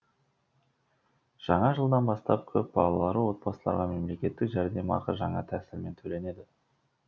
жаңа жылдан бастап көпбалалы отбасыларға мемлекеттік жәрдемақы жаңа тәсілмен төленеді